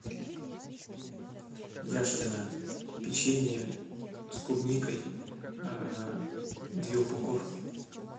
яшкино печенье с клубникой две упаковки